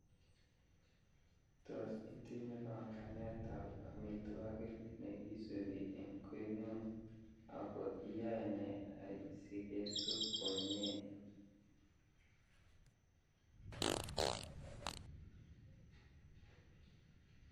Tos itinye panganetab amitwokik nekisubi eng koingung ,ako iyae nee asikesub komnye